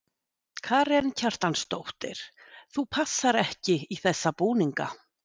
Karen Kjartansdóttir: Þú passar ekki í þessa búninga?